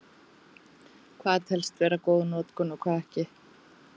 Hvað telst vera góð notkun og hvað ekki?